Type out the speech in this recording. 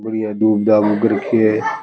बढ़िया धुप धाप उग रखी है।